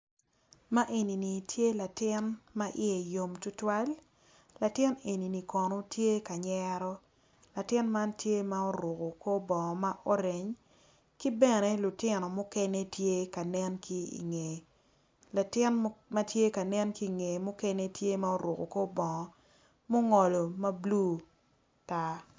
Ma enini tye latin ma iye yom tutwal latin enini kono tye ka nyero latin man tye ma oruku kor bongo ma oreny ki bene lutin mukene tye ka nen ki ingeye latin ma tye ka nen ki ingeye mukene tye ma oruku kor bongo mungolo ma bulu tar